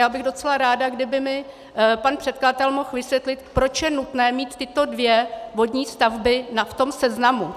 Já bych docela ráda, kdyby mi pan předkladatel mohl vysvětlit, proč je nutné mít tyto dvě vodní stavby v tom seznamu.